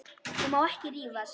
Ég má ekki rífast.